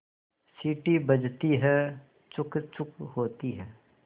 सीटी बजती है छुक् छुक् होती है